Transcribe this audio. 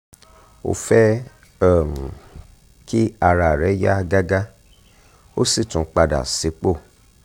o fẹ́ um kí ara rẹ yá gágá o sì tún padà sípò